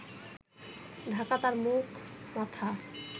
ঢাকা তাঁর মুখ মাথা